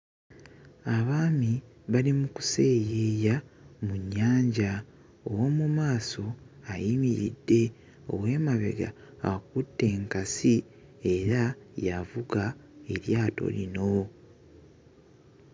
Abaami bali mu kuseeyeya mu nnyanja ow'omu maaso ayimiridde ow'emabega akutte enkasi era y'avuga eryato lino.